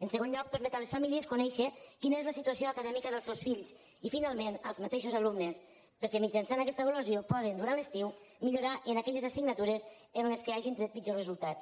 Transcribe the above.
en segon lloc permet a les famílies conèixer quina és la situació acadèmica dels seus fills i finalment als mateixos alumnes perquè mitjançant aquesta avaluació poden durant l’estiu millorar en aquelles assignatures en les quals hagin tret pitjors resultats